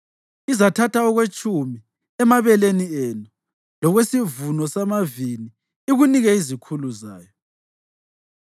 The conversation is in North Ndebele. Izathatha okwetshumi emabeleni enu lokwesivuno samavini ikunike izikhulu zayo.